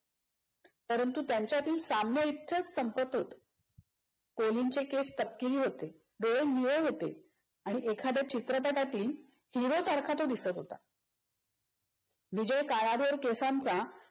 परंतु त्यांच्यातील साम्य इथेच संपत होते. कोलिनचे केस तपकिरी होते, डोळे निळे होते आणि एखाद्या चित्रपटातील हिरोसारख तो दिसत होता. विजय काळ्याभोर भोर केसांचा